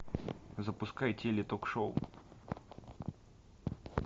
запускай теле ток шоу